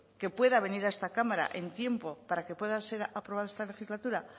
que pueda venir a esta cámara en tiempo para que pueda ser aprobado esta legislatura